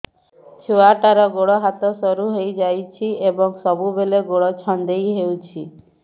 ଛୁଆଟାର ଗୋଡ଼ ହାତ ସରୁ ହୋଇଯାଇଛି ଏବଂ ସବୁବେଳେ ଗୋଡ଼ ଛଂଦେଇ ହେଉଛି